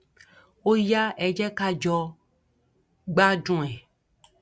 ó yá ẹ jẹ ká jọ gbádùn ẹ